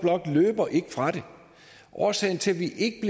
løber ikke fra det at årsagen til at vi ikke